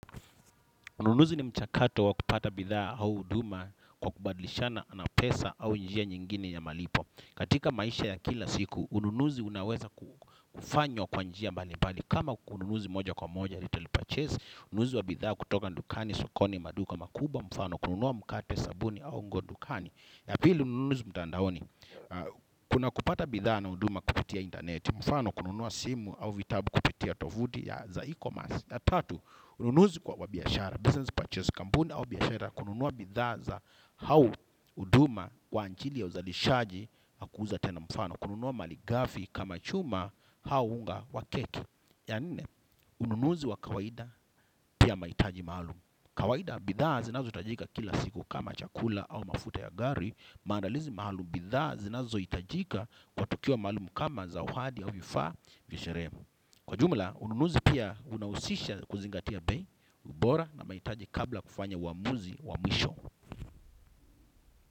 Ununuzi ni mchakato wa kupata bidhaa au huduma kwa kubadlishana na pesa au njia nyingine ya malipo. Katika maisha ya kila siku, ununuzi unaweza kufanywa kwa njia mbali mbali. Kama kununuzi moja kwa moja, little purchase, nuunuzi wa bidhaa kutoka dukani, sokoni, maduka makuba, mfano, kununua mkate, sabuni, au nguo ndukani. Ya pili ununuzi mtandaoni, kuna kupata bidhaa na huduma kupitia intaneti, mfano kununua simu au vitabu kupitia tofuti ya za ecommerce. Na tatu, ununuzi kwa biashara, business purchase kampuni au biashara, kununua bidhaa au huduma kwa ajili ya uzalishaji na kuuza tena mfano. Kununua malighafi kama chuma au unga wa keki. Ya nne, ununuzi wa kawaida pia mahitaji maalumu. Kawaida bidhaza zinazo hitajika kila siku kama chakula au mafuta ya gari, maandalizi maalumu bidhaza zinazo hitajika kwa tukio maalumu kama zawadi au vifaa vya sherehe. Kwa ujumla, ununuzi pia unahusisha kuzingatia bei, ubora na mahitaji kabla kufanya uamuzi wa mwisho.